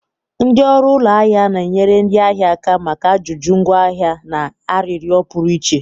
Ndị ọrụ ụlọ ahịa na-enyere ndị ahịa aka maka ajụjụ ngwaahịa na arịrịọ pụrụ iche.